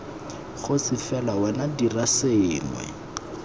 kgosi fela wena dira sengwe